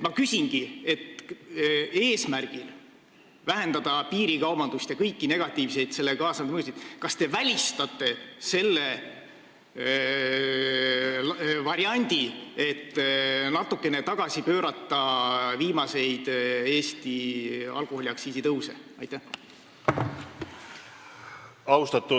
Ma küsingi, kas te välistate selle variandi, et natukene tagasi pöörata viimaseid Eesti alkoholiaktsiisi tõuse eesmärgiga vähendada piirikaubandust ja kõiki sellega kaasnevaid negatiivseid mõjusid.